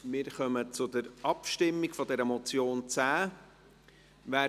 Wir kommen zur Abstimmung über diese Motion, Traktandum 10.